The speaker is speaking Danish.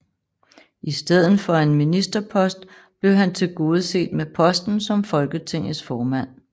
I stedet for en ministerpost blev han tilgodeset med posten som Folketingets formand